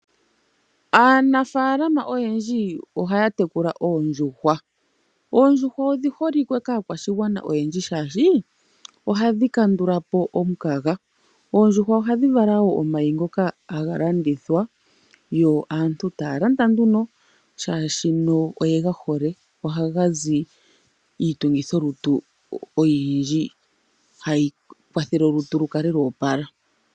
Aanafaalama oyendji ohaya tekula oondjuhwa. Oondjuhwa odhiholike kaakwashigwana oyendji shaashi khadhi kandula po omukaga. Oondjuhwa ohadhi vala woo omayi ngoka haga landithwa yo aantu taya landa nduno shaashi oyega hole. Ohaga zi iitungithi lutu oyindji hayi kwathele olutu lukale lwoopala.